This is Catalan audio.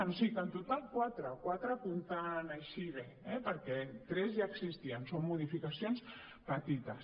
o sigui que en total quatre quatre comptant així bé perquè tres ja existien són modificacions petites